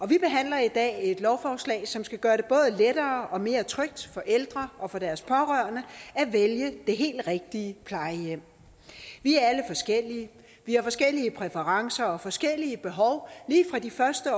vi behandler i dag et lovforslag som skal gøre det både lettere og mere trygt for ældre og deres pårørende at vælge det helt rigtige plejehjem vi er alle forskellige vi har forskellige præferencer og forskellige behov lige fra de første